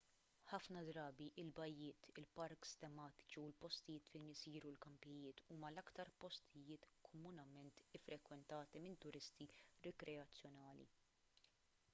ħafna drabi il-bajjiet il-parks tematiċi u l-postijiet fejn isiru l-kampijiet huma l-aktar postijiet komunement iffrekwentati minn turisti rikreazzjonali